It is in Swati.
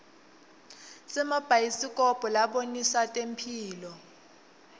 simabhayisikobho labonisa temphilo